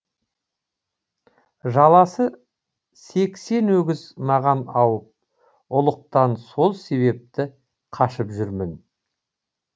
жаласы сексен өгіз маған ауып ұлықтан сол себепті қашып жүрмін